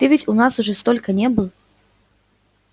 ты ведь у нас уже столько не был